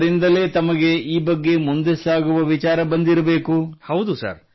ಹಾಗೂ ಅದರಿಂದಲೇ ತಮಗೆ ಈ ಬಗ್ಗೆ ಮುಂದೆ ಸಾಗುವ ವಿಚಾರ ಬಂದಿರಬೇಕು